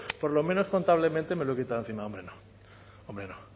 por lo menos contablemente me lo he quitado de encima no hombre no